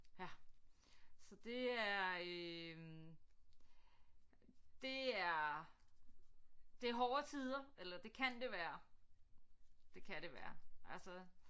Ja så det er øh det er det er hårde tider eller det kan det være det kan det være altså